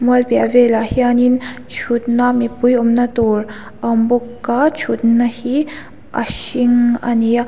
mual piah velah hianin thutna mipui awmna tur a awm bawk a thutna hi a hring a ni a.